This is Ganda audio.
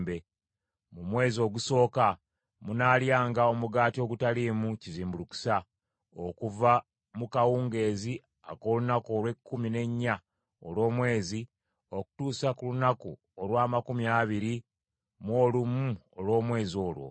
Mu mwezi ogusooka, munaalyanga omugaati ogutaliimu kizimbulukusa, okuva mu kawungeezi ak’olunaku olw’ekkumi n’ennya olw’omwezi, okutuusa ku lunaku olw’amakumi abiri mu olumu olw’omwezi ogwo.